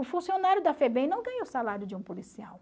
O funcionário da FEBEM não ganha o salário de um policial.